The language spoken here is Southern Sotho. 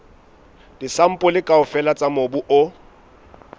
disampole kaofela tsa mobu o